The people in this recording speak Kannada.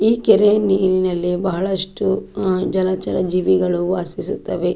ಈ ಕೆರೆಯ ನೀರಿನಲ್ಲಿ ಬಹಳಷ್ಟು ಅಹ್ ಜಲಚರ ಜೀವಿಗಳು ವಾಸಿಸುತ್ತವೆ.